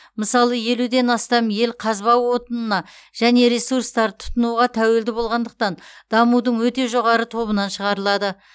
мысалы елуден астам ел қазба отынына және ресурстарды тұтынуға тәуелді болғандықтан дамудың өте жоғары тобынан шығарылады